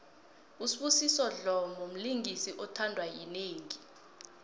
usbusiso dlomo mlingisi othandwa yinengi